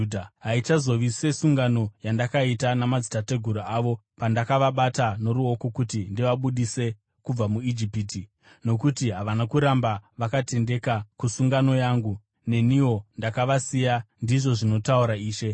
Haichazovi sesungano yandakaita namadzitateguru avo, pandakavabata noruoko kuti ndivabudise kubva muIjipiti, nokuti havana kuramba vakatendeka kusungano yangu, neniwo ndakavasiya, ndizvo zvinotaura Ishe.